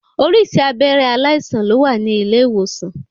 Oríṣiríṣi abẹ́rẹ́ aláìsàn ló wà ní ilé ìwòsan.